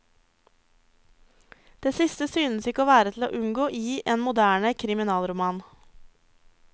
Det siste synes ikke å være til å unngå i en moderne kriminalroman.